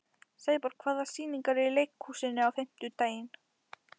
Sæborg, hvaða sýningar eru í leikhúsinu á fimmtudaginn?